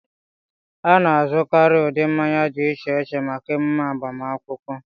A na-azụkarị ụdị mmanya dị iche iche maka emume agbamakwụkwọ